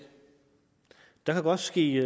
der kan godt ske